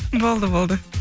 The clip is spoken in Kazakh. болды болды